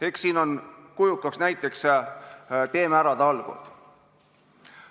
Eks siin on kujukaks näiteks "Teeme ära!" talgud.